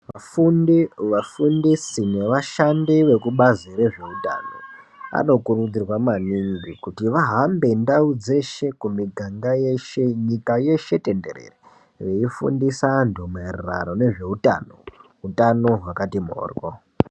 Vafundi nevafundisi nevashandi vekubazi rezvehutano vanokurudzirwa maningi kuti vahambe ndau dzeshe kumiganga yese nyika yeshe tenderere veifundisa antu nezveutano hutano hwakati mhoryo.